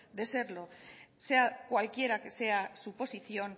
de serlo sea cualquiera que sea su posición